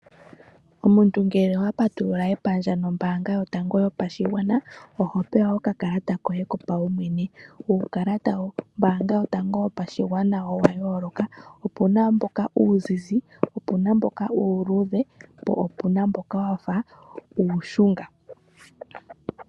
Omuntu ngele owa patulula epandje nombaanga yotango yopashigwana oho pewa okakalata koye kopaumwene. Uukalata wombaanga yotango yopashigwana owa yooloka, opu na mboka uuzizi, opu namboka uuluudhe po opu na mboka wa fa uushunga.